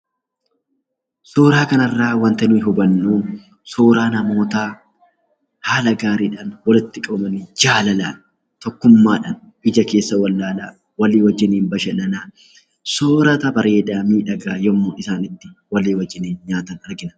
Suuraa kana irraa wanti nu hubannu suuraa namootaa haala gaarii dhaan walitti qabamanii jaalalaan, tokkummaadhaan, ija keessa wal ilaalaa, walii wajjiniin bashannanaa, soorata bareedaa miidhagaa yommuu isaan itti walii wajjiniin nyaatan argina.